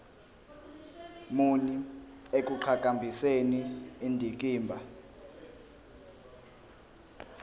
muni ekuqhakambiseni indikimba